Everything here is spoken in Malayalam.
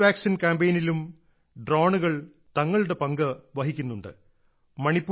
കോവിഡ് വാക്സിൻ കാമ്പെയ്നിലും ഡ്രോണുകൾ തങ്ങളുടെ പങ്ക് വഹിക്കുന്നുണ്ട്